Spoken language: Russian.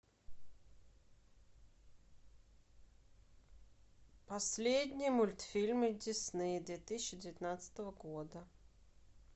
последние мультфильмы дисней две тысячи девятнадцатого года